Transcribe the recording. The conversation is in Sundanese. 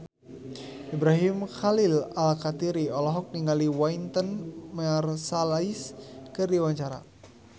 Ibrahim Khalil Alkatiri olohok ningali Wynton Marsalis keur diwawancara